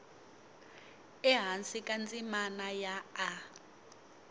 ehansi ka ndzimana ya a